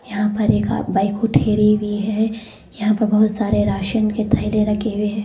यहां पर एक बाइक ठहरी हुई है यहां पर बहुत सारे राशन के थैले रखे हुए हैं।